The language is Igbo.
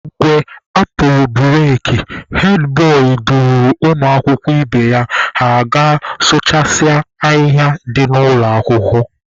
Mgbe a pụrụ bureki, hed bọị duru ụmụakwụkwọ ibe ya ha gaa sụchasịa ahịhịa dị n'ụlọ akwụkwọ.